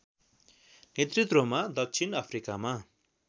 नेतृत्वमा दक्षिण अफ्रिकामा